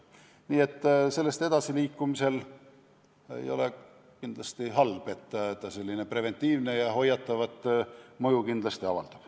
Nii et sealt edasiliikumine ei ole kindlasti halb, see preventiivset ja hoiatavat mõju kindlasti avaldab.